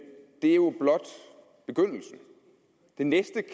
det er jo blot begyndelsen det næste